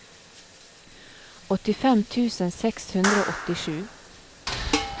åttifem tusen seks hundre og åttisju